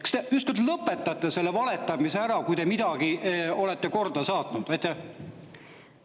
Kas te ükskord lõpetate selle valetamise ära, kui te midagi olete korda saatnud?!